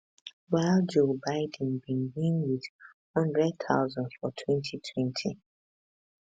while joe biden bin win wit 100000 for 2020